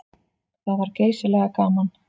Það var geysilega gaman.